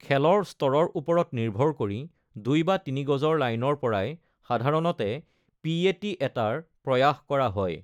খেলৰ স্তৰৰ ওপৰত নিৰ্ভৰ কৰি দুই বা তিনি গজৰ লাইনৰ পৰাই সাধাৰণতে পি.এ.টি. এটাৰ প্ৰয়াস কৰা হয়।